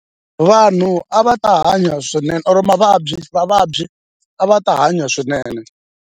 Vanhu a va ta hanya swinene or mavabyi vavabyi a va ta hanya swinene.